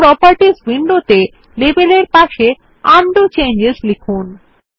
এবং প্রোপার্টিজ উইন্ডোতে লেবেল এর পাশে উন্ডো চেঞ্জেস লিখুন